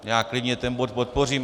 Já klidně ten bod podpořím.